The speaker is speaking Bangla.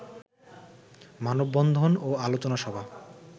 মানববন্ধন ও আলোচনা সভা